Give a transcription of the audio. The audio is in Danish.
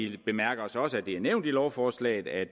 vi bemærker os også at det er nævnt i lovforslaget at